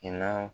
I na